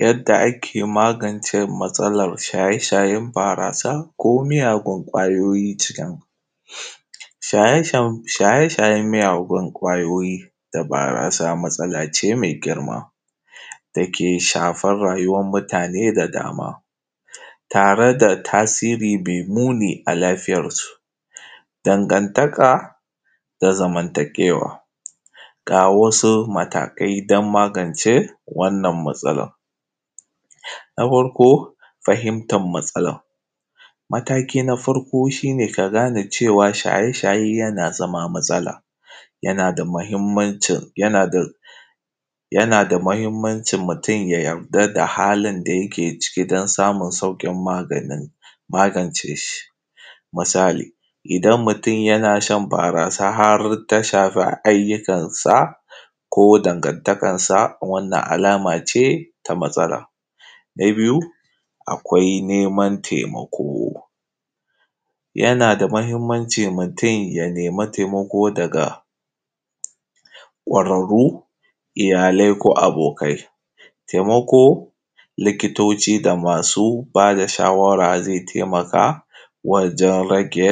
Yadda ake magance matsalan shaye-shayen barasa da miyagun kwayoyi. Shaye-shayen miyagun kwayoyi da barasa matsalace me girma da yake shafan rayuwan mutane da dama tare da tasiri me muni a lafiyansu, dangantaka da zamantakewa ga wasu matakai don magance wannan matsalan: na farko fahimtar matsalan, mataki na farko shi ne ka gane cewa shaye-shaye yana zamowa matsala, yana da mahimmancin mutum ya yarda da halin da yake ciki don samun sauƙin magance shi, misali idan mutum yana shan barasa har ta shafa ayyukansa ko dangantakansa, wannan alama ce ta matsala. Na biyu akwai neman taimako, yana da mahimmanci mutum ya nemi taimako daga kwararro, iyalai ko abokai, taimako likitoci da masu ba da shawara zai taimaka wajen rage